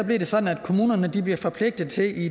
det sådan at kommunerne i bliver forpligtet til